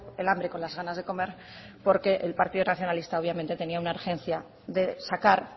el hambre con las ganas de comer porque el partido nacionalista obviamente tenía una urgencia de sacar